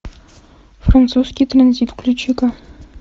французский транзит включи ка